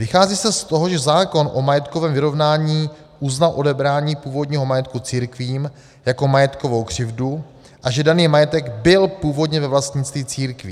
Vychází se z toho, že zákon o majetkovém vyrovnání uznal odebrání původního majetku církvím jako majetkovou křivdu a že daný majetek byl původně ve vlastnictví církví.